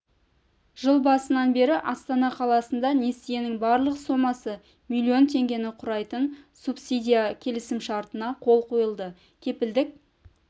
жыл басынан бері астана қаласында несиенің барлық сомасы миллион теңгені құрайтын субсидия келісімшартына қол қойылды кепілдік